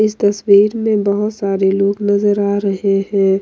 इस तस्वीर में बहुत सारे लोग नजर आ रहे हैं।